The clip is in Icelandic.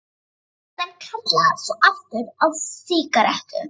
Sem kalla svo aftur á sígarettu.